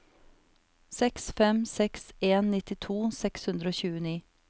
seks fem seks en nittito seks hundre og tjueni